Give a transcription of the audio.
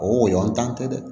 O yɔrɔntan tɛ dɛ